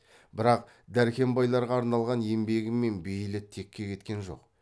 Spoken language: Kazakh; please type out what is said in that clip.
бірақ дәркембайларға арналған еңбегі мен бейілі текке кеткен жоқ